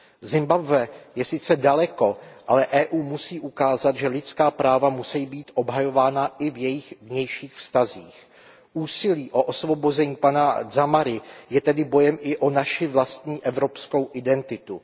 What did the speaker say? Zimbabwe je sice daleko, ale Evropská unie musí ukázat, že lidská práva musí být obhajována i v jejích vnějších vztazích. Úsilí o osvobození pana Dzamary je tedy bojem i o naši vlastní evropskou identitu.